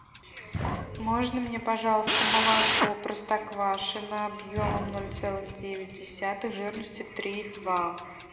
можно мне пожалуйста молоко простоквашино объемом ноль целых девять десятых жирностью три и два